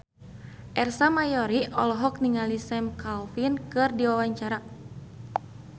Ersa Mayori olohok ningali Sam Claflin keur diwawancara